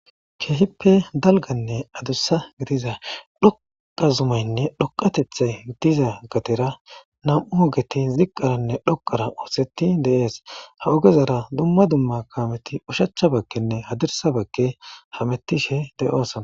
keehippe dalganne adussa gidiza dhoqa zumaynne dhoqatethay diza gatera nam7u ogeti ziqqaranne dhoqara ooseti deees ha ogezara dumma dumma kaameti ushacha bakkenne hadirsa bakke hamettishe deyo asana